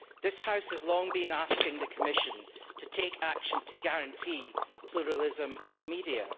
This House has long been asking the Commission to take action to guarantee pluralism of the media.